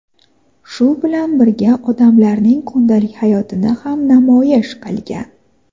shu bilan birga odamlarning kundalik hayotini ham namoyish qilgan.